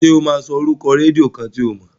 Ṣé ó máa sọ orúkọ rédíó kan tí o mọ̀?